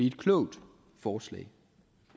et klogt forslag